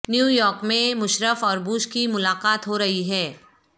New York میں مشرف اور Bush کی ملاقات ہو رہی ہے